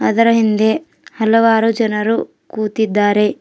ಅದರ ಹಿಂದೆ ಹಲವಾರು ಜನರು ಕೂತಿದ್ದಾರೆ.